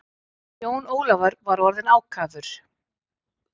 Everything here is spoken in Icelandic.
Jón Ólafur var orðinn ákafur.